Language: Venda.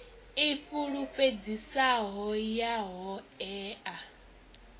i fulufhedzisaho ya ho ea